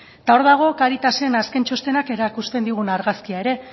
eta hor dago cáritasen azken txostenak erakusten digun argazkia ere